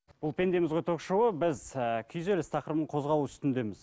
бұл пендеміз ғой ток шоуы біз і күйзеліс тақырыбын қозғау үстіндеміз